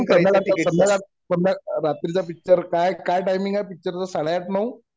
तू करणाराय टिकिट मला समजा रात्रीचा पिक्चर काय काय टाइमिंग आहे पिक्चर च साडेआठ नऊ